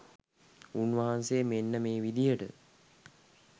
උන්වහන්සේ මෙන්න මේ විදිහට